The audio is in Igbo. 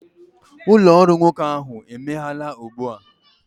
ụlọ ọrụ nwoke ahụ emeghela ugbu a